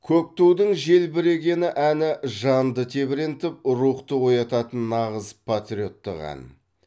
көк тудың желбірегені әні жанды тебірентіп рухты оятатын нағыз патриоттық ән